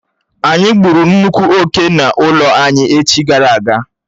Ányi gbụ́ru nnukwu oké n'ụlọ anyị echi gara aga